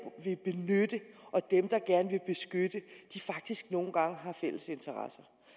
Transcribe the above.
vil benytte og dem der gerne vil beskytte faktisk nogle gange har fælles interesser